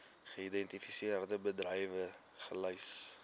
geïdentifiseerde bedrywe gelys